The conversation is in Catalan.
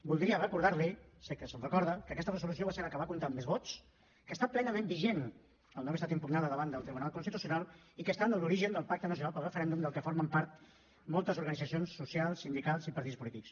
voldria recordar li sé que se’n recorda que aquesta resolució va ser la que va comptar amb més vots que està plenament vigent al no haver estat impugnada davant del tribunal constitucional i que està en l’origen del pacte nacional pel referèndum del que formen part moltes organitzacions socials sindicals i partits polítics